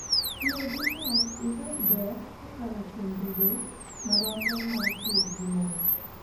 Tiyo gi lowo imed ber kokalo kuom bedo maromre mar chwo gi mon.